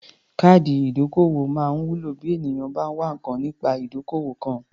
Káàdì ìdókòwó máa ń wúlò bí ènìyàn bá ń wá nǹkan nípa ìdókòwò kan.